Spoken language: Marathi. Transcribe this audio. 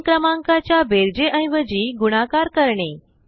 दोन क्रमांकाच्या बेरजे ऐवजी गुणाकार करणे